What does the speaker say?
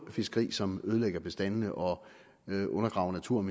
fiskeri som ødelægger bestandene og undergraver naturen